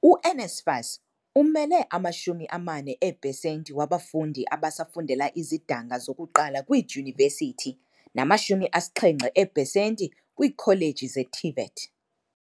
U-NSFAS umele ama-40 eepesenti wabafundi abasa fundela izidanga zokuqala kwiidyunivesithi nama-70 eepesenti kwiikholeji ze-TVET.